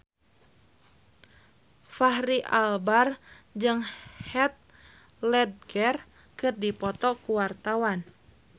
Fachri Albar jeung Heath Ledger keur dipoto ku wartawan